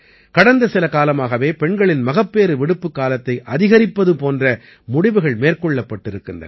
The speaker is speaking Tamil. கடந்த சில காலமாகவே பெண்களின் மகப்பேறு விடுப்புக் காலத்தை அதிகரிப்பது போன்ற முடிவுகள் மேற்கொள்ளப்பட்டிருக்கின்றன